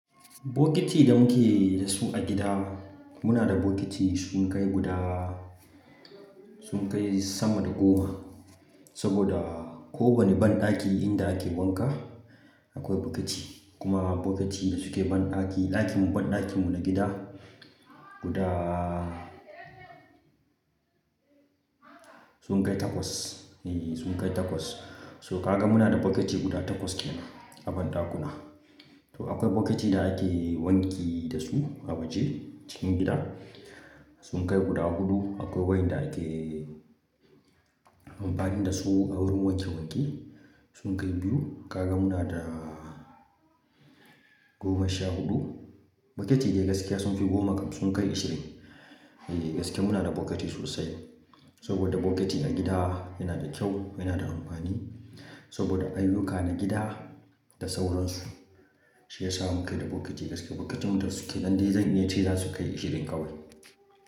Bokiti da muke da su a gida, muna da bokiti sun kai guda, sun kai sama da goma. Saboda ko wane banɗaki inda ake wanka akwai bokiti. Kuma bokitun da suke banɗaki, ɗakin banɗakinmu na gida guda sun kai takwas. E, sun kai takwas. To kaga muna da bokiti guda takwas kenan a banɗakuna. To akwai bokitin da ake wanki da su a waje cikin gida. Sun kai guda huɗu. Akwai waƴanda ake amfani da su a wurin wanke wanke. Sun kai biyu. Kaga muna da goma sha huɗu. Bokiti dai gaskiya sun fi goma kam sun kai ishirin. E, gaskiya muna da bokiti sosai. Saboda bokiti a gida yana da kyau, yana da amfani. Saboda ayyuka na gida da sauransu, shi yasa muke da bokiti gaskiya. Bokitin da suke nan dai zan iya ce za su kai ishirin kawai.